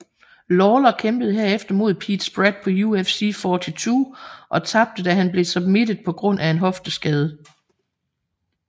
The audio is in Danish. Lawler kæmpede herefter mod Pete Spratt på UFC 42 og tabte da han blev submitted på grund af en hofteskade